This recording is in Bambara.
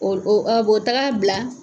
o bɛ taga bila